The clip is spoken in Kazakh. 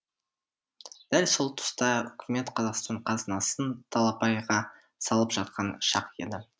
дәл сол тұста үкімет қазақстан қазынасын талапайға салып жатқан шақ еді